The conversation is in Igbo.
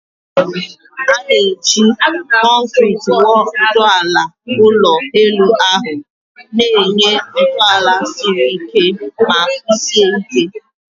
A na-eji concreti wuo ntọala ụlọ elu ahụ, na-enye ntọala siri ike ma kwụsie ike.